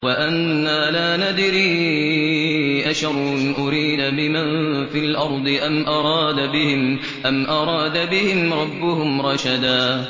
وَأَنَّا لَا نَدْرِي أَشَرٌّ أُرِيدَ بِمَن فِي الْأَرْضِ أَمْ أَرَادَ بِهِمْ رَبُّهُمْ رَشَدًا